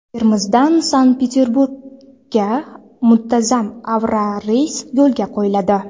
Termizdan Sankt-Peterburgga muntazam aviareys yo‘lga qo‘yiladi.